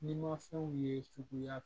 Ni mafɛnw ye cogoya